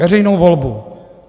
Veřejnou volbu.